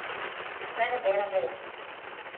Saj ne berem več.